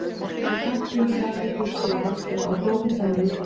Ég tók hattinn, sjalið, pilsið og hanskana og hljóp með það niður stigann.